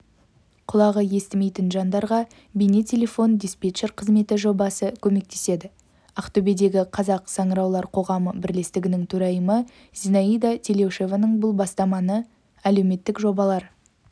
құлағы естімейтін жандарға бейне-телефон диспетчер қызметі жобасы көмектеседі ақтөбедегі қазақ саңыраулар қоғамы бірлестігінің төрайымы зинаида телеушеваның бұл бастамасы әлеуметтік жобалар